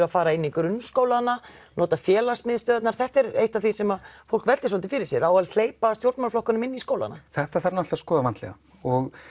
að fara inn í grunnskólana nota félagsmiðstöðvarnar þetta er eitt af því sem fólk veltir svolítið fyrir sér á að hleypa stjórnmálaflokkum inn í skólana þetta þarf náttúrulega að skoða vandlega og